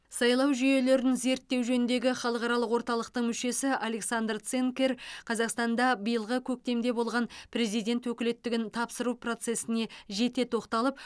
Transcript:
сайлау жүйелерін зерттеу жөніндегі халықаралық орталықтың мүшесі александр цинкер қазақстанда биылғы көктемде болған президент өкілеттігін тапсыру процесіне жете тоқталып